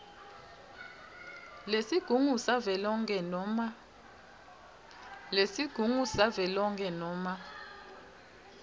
lesigungu savelonkhe noma